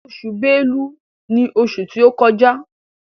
Oṣù Bélú ní oṣù tí o kọjá.